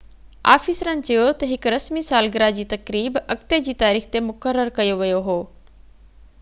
آفيسرن چيو ته هڪ رسمي سالگره جي تقريب اڳتي جي تاريخ تي مقرر ڪيو ويو هو